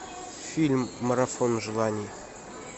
фильм марафон желаний